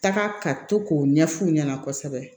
Taga ka to k'o ɲɛf'u ɲɛna kosɛbɛ